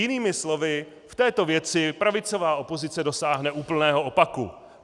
Jinými slovy, v této věci pravicová opozice dosáhne úplného opaku.